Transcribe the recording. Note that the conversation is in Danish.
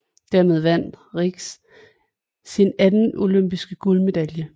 Dermed vandt Rienks sin anden olympiske guldmedalje